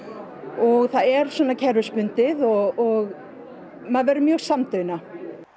og það er svona kerfisbundið og maður verður mjög samdauna